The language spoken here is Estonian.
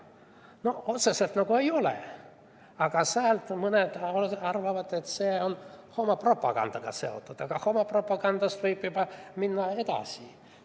No otseselt nagu ei olegi, aga mõned arvavad, et see on seotud homopropagandaga, ja homopropagandast võib juba minna edasi.